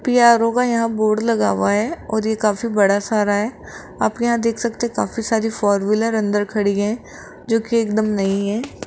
PRO का यहां board लगा हुआ है और ये काफी बड़ा सारा है आप यहां देख सकते काफी सारी फोर व्हीलर अंदर खड़ी है जोकि एकदम नई है।